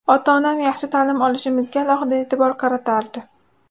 Ota-onam yaxshi ta’lim olishimizga alohida e’tibor qaratardi.